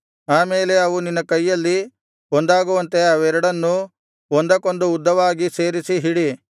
ಆ ಮೇಲೆ ಅವು ನಿನ್ನ ಕೈಯಲ್ಲಿ ಒಂದಾಗುವಂತೆ ಅವೆರಡನ್ನೂ ಒಂದಕ್ಕೊಂದು ಉದ್ದವಾಗಿ ಸೇರಿಸಿ ಹಿಡಿ